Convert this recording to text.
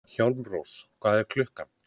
Hjálmrós, hvað er klukkan?